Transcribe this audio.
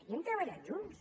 hi hem treballat junts